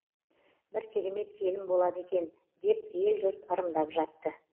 бір керемет келін болады екен деп ел жұрт ырымдап жатты